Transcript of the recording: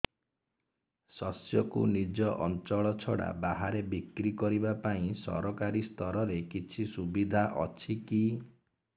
ଶସ୍ୟକୁ ନିଜ ଅଞ୍ଚଳ ଛଡା ବାହାରେ ବିକ୍ରି କରିବା ପାଇଁ ସରକାରୀ ସ୍ତରରେ କିଛି ସୁବିଧା ଅଛି କି